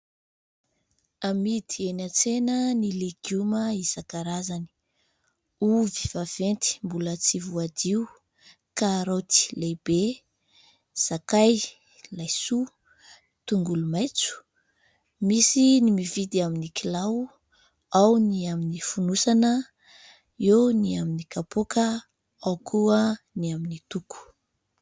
Amidy eny an-tsena ny legioma isankarazany. Ovy vaventy mbola tsy voadio, karaoty lehibe, sakay, laisoa, tongolo maitso. Misy ny mividy amin'ny kilao ao ny amin'ny fonosana, eo ny amin'ny kapoaka, ao koa ny amin'ny toko.